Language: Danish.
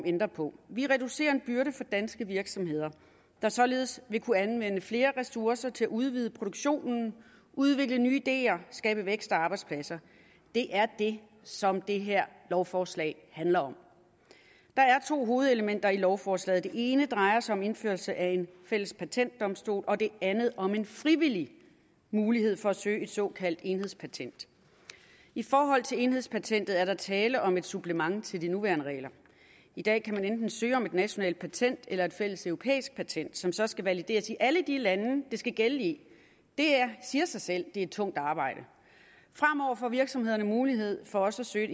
ændre på vi reducerer en byrde for danske virksomheder der således vil kunne anvende flere ressourcer til at udvide produktionen udvikle nye ideer og skabe vækst og arbejdspladser det er det som det her lovforslag handler om der er to hovedelementer i lovforslaget det ene drejer sig om indførelse af en fælles patentdomstol og det andet om en frivillig mulighed for at søge et såkaldt enhedspatent i forhold til enhedspatentet er der tale om et supplement til de nuværende regler i dag kan man enten søge om et nationalt patent eller et fælles europæisk patent som så skal valideres i alle de lande det skal gælde i det siger sig selv at det er et tungt arbejde fremover får virksomhederne mulighed for også at søge